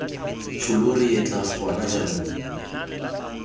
tsholo re etla gona jaanong